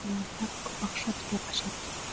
ия бірақ көп ақша төлеу қажет